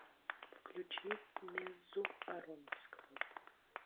включи меззу ароновского